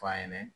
F'a ɲɛna